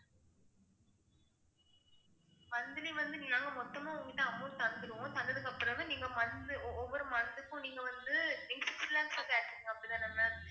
monthly வந்து நீங்க மொத்தமா உங்க கிட்ட amount தந்துருவோம், தந்ததுக்கு அப்புறமே நீங்க month ஒவ்வொரு month க்கும் நீங்க வந்து அப்படித்தானே ma'am